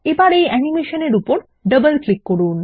আবার এই অ্যানিমেশন এর উপর ডবল ক্লিক করুন